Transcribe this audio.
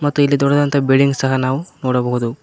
ಮತ್ತು ಇಲ್ಲಿ ದೊಡ್ಡದಾಂತ ಬಿಲ್ಡಿಂಗ್ ಸಹ ನಾವು ನೋಡಬಹುದು.